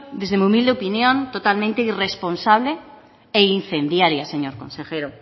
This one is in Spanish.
desde mi humilde opinión totalmente irresponsable e incendiaria señor consejero